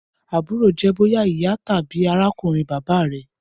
Aburo jẹ boya iya tabi arakunrin baba rẹ.